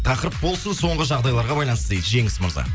тақырып болсын соңғы жағдайларға байланысты дейді жеңіс мырза